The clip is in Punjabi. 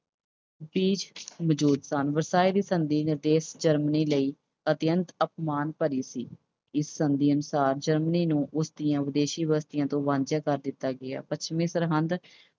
ਮੌਜੂਦ ਸਨ। ਵਰਸਾਏ ਦੀ ਸੰਧੀ Germany ਲਈ ਅਤਿਅੰਤ ਅਪਮਾਨ ਭਰੀ ਸੀ। ਇਸ ਸੰਧੀ ਅਨੁਸਾਰ Germany ਨੂੰ ਉਸਦੀਆਂ ਵਿਦੇਸ਼ੀ ਬਸਤੀਆਂ ਤੋਂ ਵਾਂਝਾ ਕਰ ਦਿੱਤਾ ਗਿਆ। ਪੱਛਮੀ ਸਰਹੰਦ